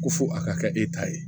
Ko fo a ka kɛ e ta ye